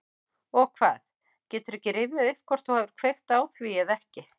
Og hvað, geturðu ekki rifjað upp hvort þú hafir kveikt á því eða ekki?